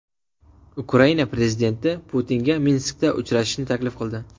Ukraina prezidenti Putinga Minskda uchrashishni taklif qildi.